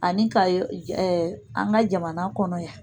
Ani ka an ka jamana kɔnɔ yan